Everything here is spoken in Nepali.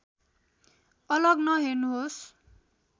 अलग नहेर्नुहोस्